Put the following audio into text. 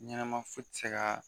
Ɲɛnama foyi tɛ se ka